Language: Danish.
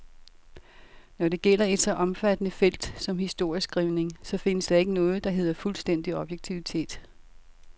Når det gælder et så omfattende felt som historieskrivningen, så findes der ikke noget, der hedder fuldstændig objektivitet.